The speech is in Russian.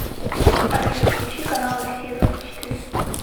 алиса включи канал россия двадцать четыре